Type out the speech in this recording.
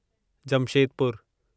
जमशेदपुरु